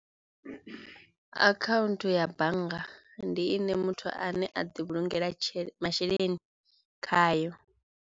Akhaunthu ya bannga ndi ine muthu ane a ḓi vhulungela tshele masheleni khayo.